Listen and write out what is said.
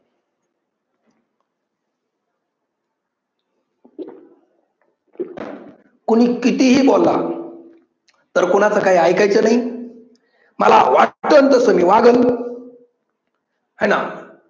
कुणी कितीही बोला, तर कोणाचं काही ऐकायचं नाही. मला वाटेल तस मी वागलं. हे ना